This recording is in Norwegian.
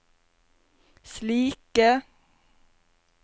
slike